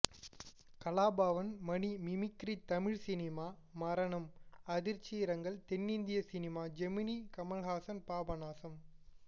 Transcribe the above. கலாபவன் மணி mimicry Tamil cinema மரணம் அதிர்ச்சி இரங்கல் தென்னிந்திய சினிமா ஜெமினி கமல்ஹாசன் பாபநாசம்